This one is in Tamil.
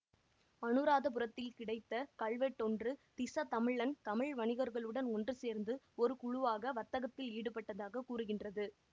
அநுராதபுரத்தில் கிடைத்த கல்வெட்டொன்று திஸ தமிழன் தமிழ் வணிகர்களுடன் ஒன்று சேர்ந்து ஒரு குழுவாக வர்த்தகத்தில் ஈடுபட்டதாக கூறுகின்றது